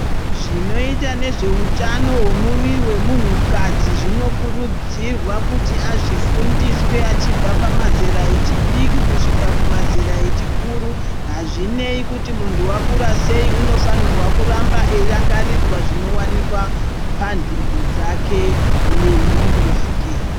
Zvinoita nezveutano hwemuviri wemunhu kadzi zvinokurudzirwa kuti azvifundiswe achibva pamazera echidiki kusvika pamazera echikuru hazvinei kuti muntu akura sei anofanirwa kuramba achirangaridzwa zvinowanikwa pantengo dzake nemuviri wake.